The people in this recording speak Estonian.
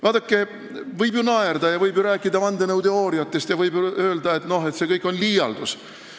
Vaadake, võib ju naerda ja rääkida vandenõuteooriatest ning öelda, et see kõik on liialdus.